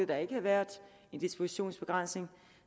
der ikke havde været en dispositionsbegrænsning